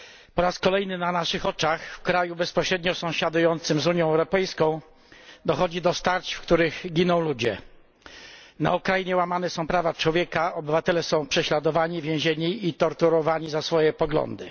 Po raz kolejny na naszych oczach, w kraju bezpośrednio sąsiadującym z Unią Europejską, dochodzi do starć, w których giną ludzie. Na Ukrainie łamane są prawa człowieka, obywatele są prześladowani, więzieni i torturowani za swoje poglądy.